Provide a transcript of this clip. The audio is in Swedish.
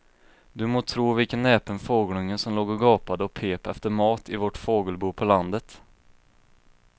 Du må tro vilken näpen fågelunge som låg och gapade och pep efter mat i vårt fågelbo på landet.